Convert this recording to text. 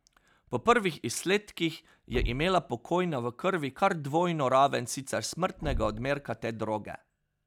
Po prvih izsledkih je imela pokojna v krvi kar dvojno raven sicer smrtnega odmerka te droge.